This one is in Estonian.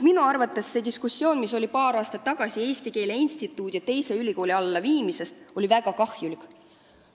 Minu arvates oli paar aastat tagasi puhkenud diskussioon Eesti Keele Instituudi ülikooli alla viimisest väga kahjulik.